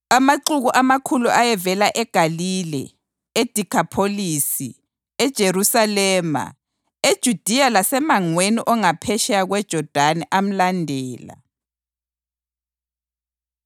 Amaxuku amakhulu ayevela eGalile, eDekhapholisi, eJerusalema, eJudiya lasemangweni ongaphetsheya kweJodani amlandela.